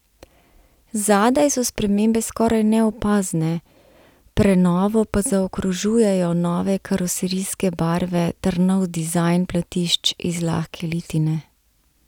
Zadaj so spremembe skoraj neopazne, prenovo pa zaokrožujejo nove karoserijske barve ter nov dizajn platišč iz lahke litine.